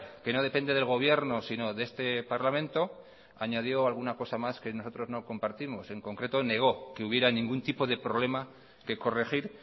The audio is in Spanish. que no depende del gobierno sino de este parlamento añadió alguna cosa más que nosotros no compartimos en concreto negó que hubiera ningún tipo de problema que corregir